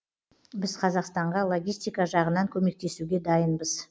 біз қазақстанға логистика жағынан көмектесуге дайынбыз